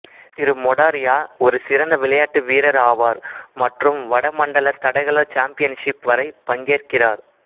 திரு மொடாரியா ஒரு சிறந்த விளையாட்டு வீரர் ஆவார் மற்றும் வட மண்டல தடகள சாம்பியன்ஷிப் வரை பங்கேற்கிறார்